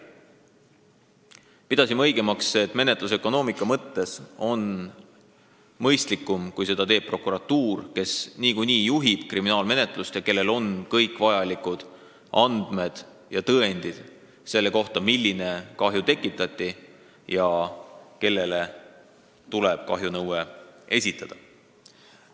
Leidsime, et menetlusökonoomika mõttes on mõistlikum, kui seda teeb prokuratuur, kes niikuinii juhib kriminaalmenetlust ning kellel on kõik vajalikud andmed ja tõendid selle kohta, milline kahju tekitati ja kellele tuleb kahjunõue esitada.